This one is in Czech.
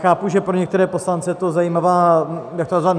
Chápu, že pro některé poslance je to zajímavá - jak to nazvat?